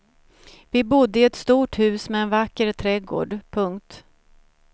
Vi bodde i ett stort hus med en vacker trädgård. punkt